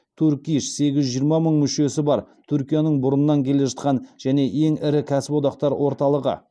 турк иш сегіз жүз жиырма мың мүшесі бар түркияның бұрыннан келе жатқан және ең ірі кәсіподақтар орталығы